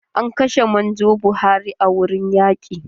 An kashe manjo Buhari a wurin yaƙi.